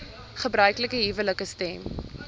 gebruiklike huwelike stem